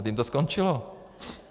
A tím to skončilo.